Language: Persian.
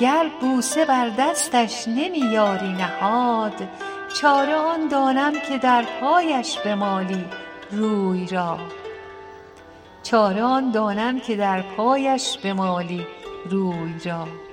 گر بوسه بر دستش نمی یاری نهاد چاره آن دانم که در پایش بمالی روی را